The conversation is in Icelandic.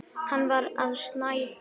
Hann var að snæða.